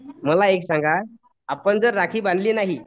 मला एक सांगा आपण जर राखी बांधली नाही